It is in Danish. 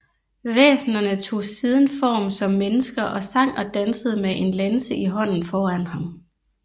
Væsenerne tog siden form som mennesker og sang og dansede med en lanse i hånden foran ham